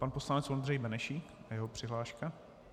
Pan poslanec Ondřej Benešík a jeho přihláška.